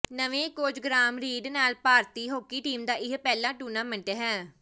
ਨਵੇਂ coach Graham Reid ਨਾਲ ਭਾਰਤੀ ਹਾਕੀ ਟੀਮ ਦਾ ਇਹ ਪਹਿਲਾ ਟੂਰਨਾਮੈਂਟ ਹੈ